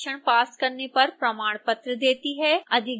अधिक जानकारी के लिए कृपया हमें लिखें